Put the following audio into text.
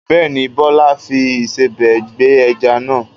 Bẹ́ẹ̀ ni, Bọ́lá fi ìsebẹ̀ gbẹ ẹja náà.